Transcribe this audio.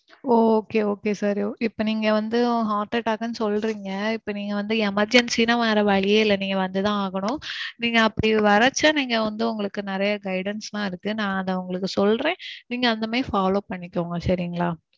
okay okay sir. இப்போ நீங்க வந்து heart attack னு சொல்றீங்க, இப்போ நீங்க வந்து emergency னா வேறவழியே இல்ல நீங்க வந்துதான் ஆகணும். நீங்க அப்பிடி வர்ரச்ச நீங்க வந்து உங்களுக்கு நெறைய guidance எல்லாம் இருக்கு. நான் அத உங்களுக்கு சொல்றேன். நீங்க அந்த மாறி follow பண்ணிக்கோங்க சரிங்களா?